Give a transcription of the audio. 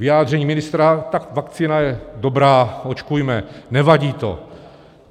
Vyjádření ministra - tak vakcína je dobrá, očkujme, nevadí to.